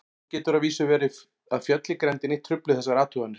Nú getur að vísu verið að fjöll í grenndinni trufli þessar athuganir.